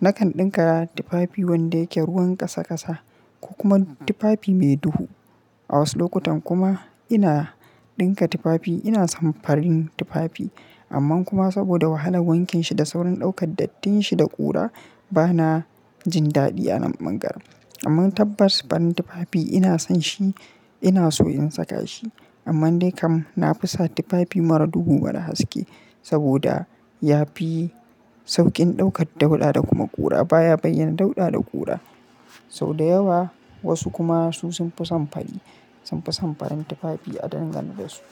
Na kan ɗinka tufafi wanda yake ruwan ƙasa ƙasa ko kuma tufafi mai duhu. A wasu lokutan kuma ina ɗinka tufafi ina son farin tufafi amma kuma saboda wahalar wankin shi da saurin ɗaukar dattin shi da ƙura ba na jin daɗi a wannan garin. Amma tabbas farin tufafi ina son shi ina so in saka shi amma dai kam na fi son tufafi mara duhu mara haske saboda ya fi sauƙin ɗaukar dauɗa da kuma ƙura baya bayyana dauɗa da ƙura sau da yawa. Wasu kuma su sun fi son fari sun fi son farin tufafi a dangantarsu.